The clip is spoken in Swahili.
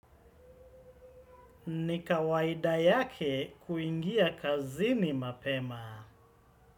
Nikawaida yake, kuingia kazini, mapema.